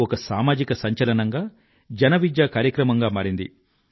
ఒక సామాజిక సంచలనం గా జన విద్యాకార్యక్రమం గా మారింది